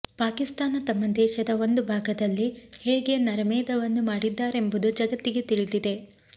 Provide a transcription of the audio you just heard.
ಪಾಕಿಸ್ತಾನ ತಮ್ಮ ದೇಶದ ಒಂದು ಭಾಗದಲ್ಲಿ ಹೇಗೆ ನರಮೇಧವನ್ನು ಮಾಡಿದ್ದಾರೆಂಬುದು ಜಗತ್ತಿಗೆ ತಿಳಿದಿದೆ